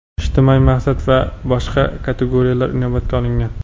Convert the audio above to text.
ijtimoiy maqsad va boshqa kategoriyalar inobatga olingan.